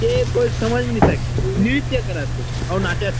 ए कोई समाज में नई सके नृत्य करत थे अऊ नाचत थे।